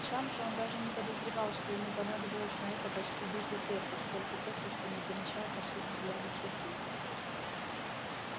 сам же он даже не подозревал что ему понадобилось на это почти десять лет поскольку попросту не замечал косых взглядов соседей